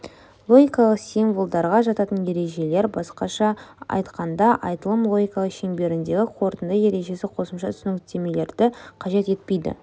логикалық символдарға жататын ережелер басқаша айтқанда айтылым логикасы шеңберіндегі қорытынды ережесі қосымша түсініктемелерді қажет етпейді